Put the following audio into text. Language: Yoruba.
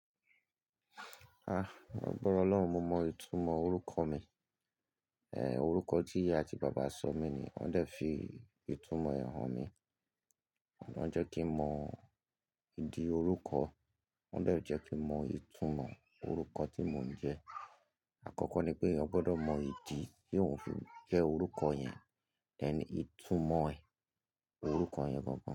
Ah, lágbàrá Ọlọ́run, mo mọ ìtumọ̀ orúkọ mi. Ẹ̀ orúkọ tí ìyá àti bàbá sọ mí ní, wón dẹ̀ fi ìtumọ̀ hàn mí. Wón jẹ́ kí mọ ìdí orúkọ, wón dẹ̀ jẹ́ kí mọ ìtumọ̀ orúkọ tí mò ń jẹ́. Àkọ́kọ́ ni pé èèyàn gbọdọ̀ mọ ìdí tí òun fi jẹ́ orúkọ yẹn, tẹ̀ni ìtumọ̀ orúkọ yẹn gan.